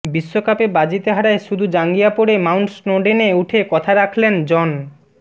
বিশ্বকাপে বাজিতে হারায় শুধু জাঙ্গিয়া পরে মাউন্ট স্নোডেনে উঠে কথা রাখলেন জন